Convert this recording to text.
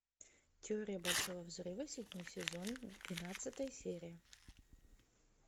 теория большого взрыва седьмой сезон двенадцатая серия